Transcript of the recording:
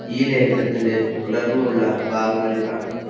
ഈ ലേഖനത്തിന്റെ തുടർന്നുള്ള ഭാഗങ്ങളിൽ കാണാം